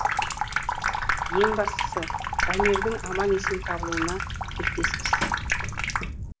ең бастысы дамирдің аман есен табылуына тілектеспіз